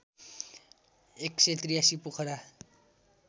१८३ Pokhara